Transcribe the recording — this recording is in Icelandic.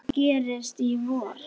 Hvað gerist í vor?